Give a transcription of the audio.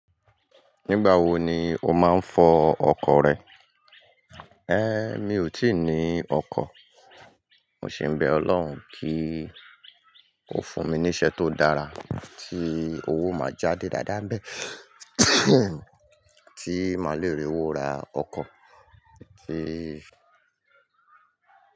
Nígbà wo ni o máa ń fọ ọkọ̀ rẹ? Mi ò tíì ní ọkọ̀. Mo sì ń bẹ Ọlọ́run kí ó fún mi ní iṣẹ́ tó dára tí owó máa jáde dáadáa bẹ́ẹ̀, tí màá le rí owó ra ọkọ̀, kí.